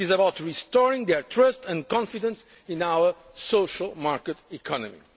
It is about restoring their trust and confidence in our social market economy.